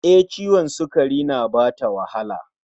E, ciwon sukari na bata wahala